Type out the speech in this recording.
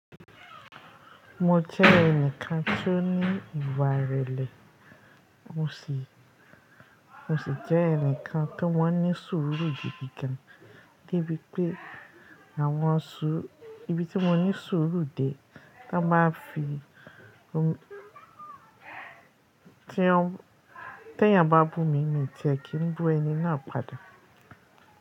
Mo jẹ́ ẹnìkan tó ní ìwà ìrẹ̀lẹ̀, mo sì jẹ́ ẹnìkan tó man ní sùúrù gidigan, debi pé àwọn suru ibi tí mo ní sùúrù dé tí wọ́n bá fi tí wọ́n tẹ́yà bá bù mi ní n ti kí n bú ẹni náà padà.